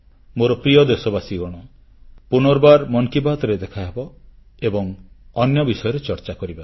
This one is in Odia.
ମୋ ପ୍ରିୟ ଦେଶବାସୀଗଣ ପୁନର୍ବାର ମନ୍ କି ବାତ୍ରେ ଦେଖାହେବ ଏବଂ ଅନ୍ୟ ବିଷୟରେ ଚର୍ଚ୍ଚା କରିବା